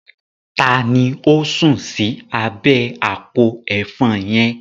Taàní ó sun sì abẹ àpò Ẹ̀fọn yẹn?